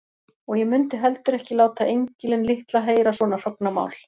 Og ég mundi heldur ekki láta engilinn litla heyra svona hrognamál.